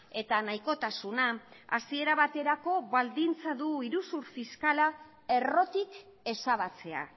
eta nahikotasuna hasiera baterako baldintza du iruzur fiskala errotik ezabatzea